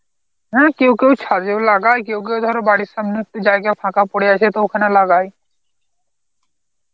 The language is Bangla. হ্যাঁ কেউ কেউ ছাদেও লাগায় কেউ কেউ ধরো বাড়ির সামনে একটু জায়গা ফাঁকা পড়ে আছে তো ওখানে লাগায়.